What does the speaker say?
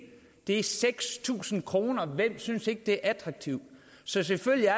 det er seks tusind kroner hvem synes ikke det er attraktivt så selvfølgelig er